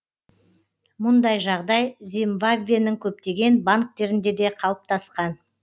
мұндай жағдай зимбабвенің көптеген банктерінде де қалыптасқан